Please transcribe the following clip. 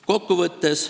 Kokkuvõtteks.